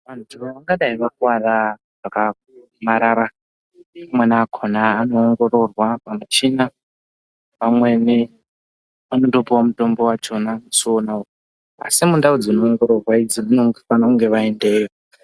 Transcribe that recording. Vantu vangadai vakuvara zvakaomarara vamweni vakona vanoongororwa pamichina vamweni vanotopiwa mitombo yakona musi wonawo asi mundao dzinoongororwa idzi vanofana kunge vaendeyo.